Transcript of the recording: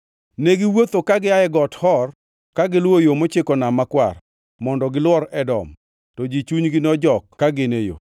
Negiwuotho ka gia Got Hor ka giluwo yo mochiko Nam Makwar, mondo giluor Edom. To ji chunygi nojok ka gin e yo;